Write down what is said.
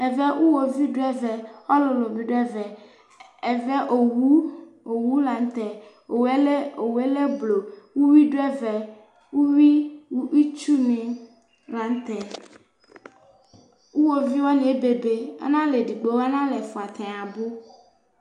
ɛvɛ iwɔviʋ dʋ ɛvɛ, ɔlʋlʋ bi dʋ ɛvɛ, ɛvɛ ɔwʋ lantɛ, ɔwʋɛ lɛ blɔ, ʋwi dʋ ɛvɛ ʋwii tsʋ ni lantɛ, iwɔviʋ wani ɛbɛbɛ analɛ ɛdigbɔ, analɛ ɛƒʋa, atani abʋ